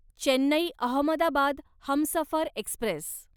Chennai Ahmedabad Humsafar Express